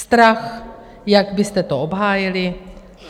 Strach, jak byste to obhájili.